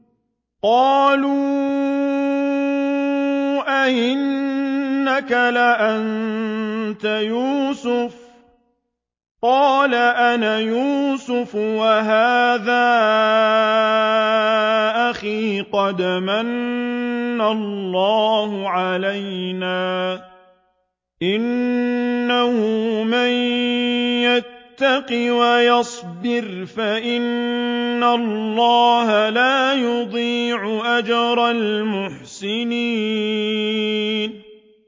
قَالُوا أَإِنَّكَ لَأَنتَ يُوسُفُ ۖ قَالَ أَنَا يُوسُفُ وَهَٰذَا أَخِي ۖ قَدْ مَنَّ اللَّهُ عَلَيْنَا ۖ إِنَّهُ مَن يَتَّقِ وَيَصْبِرْ فَإِنَّ اللَّهَ لَا يُضِيعُ أَجْرَ الْمُحْسِنِينَ